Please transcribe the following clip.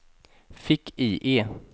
fick-IE